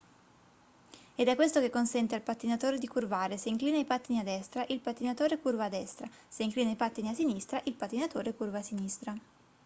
ed è questo che consente al pattinatore di curvare se inclina i pattini a destra il pattinatore curva a destra se inclina i pattini a sinistra il pattinatore curva a sinistra